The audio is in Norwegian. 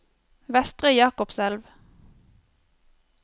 Vestre Jakobselv